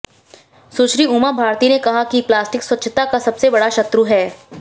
सुश्री उमा भारती ने कहा कि प्लास्टिक स्वच्छता का सबसे बड़ा शत्रु है